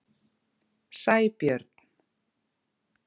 Sæbjörn